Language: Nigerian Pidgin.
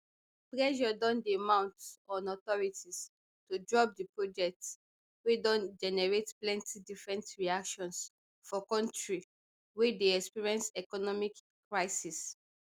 pressure don dey mount on authorities to drop di project wey don generate plenty different reactions for kontri wey dey experience economic crisis